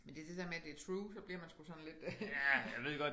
Men det er det dér med at det er true så bliver man sgu sådan lidt